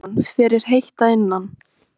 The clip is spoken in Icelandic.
Símon: Þér er heitt að innan?